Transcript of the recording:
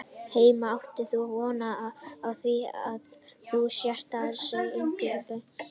Heimir: Átt þú von á því að þú sért að yfirgefa bankann í bráð?